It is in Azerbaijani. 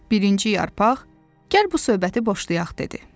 Birinci yarpaq, "Gəl bu söhbəti boşlayaq" dedi.